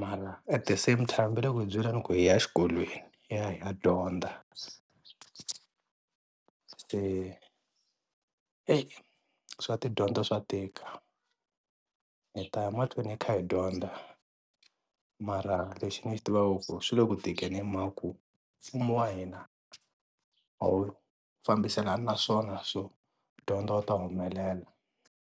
mara at the same time va le ku hi byeleni ku hi ya exikolweni hi ya hi ya dyondza se ey swa tidyondzo swa tika hi ta ya mahlweni hi kha hi dyondza mara lexi ni xi tivaka i ku swi le ku tikeni hi mhaka ku mfumo wa hina a wu fambiselani na swona swo dyondza u ta humelela.